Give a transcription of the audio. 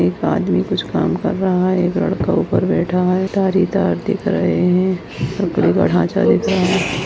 एक आदमी कुछ काम रहा हैं एक लड़का ऊपर बैठा हैं तार ही तार दिख रहे हैं लकड़ी का ढांचा दिख रहा है।